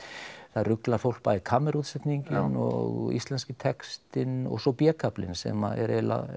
það ruglar fólk bæði kammerútsetningin og íslenski textinn og svo b kaflinn sem að eiginlega